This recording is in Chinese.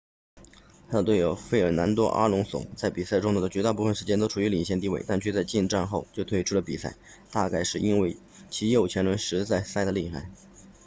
他的队友费尔南多阿隆索 fernando alonso 在比赛中的绝大多数时间里都处于领先地位但却在进站后就退出了比赛大概是因为其右前轮实在塞得厉害